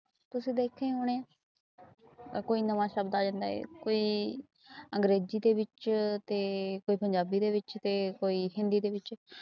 ਤੁਸੀ ਦਹਾਕੇ ਹੋਨੇ ਕੋਈ ਨਾਵਾਂ ਸ਼ਬਦ ਆ ਜਾਂਦਾ ਹੈ ਕੋਈ ਇਗ੍ਰੇਜੀ ਦੇ ਵਿੱਚ ਤੇ ਪੰਜਾਬੀ ਦੇ ਵਿੱਚ ਤੇ ਕੋਈ ਹਿੰਦੀ ਦੇ ਵਿੱਚ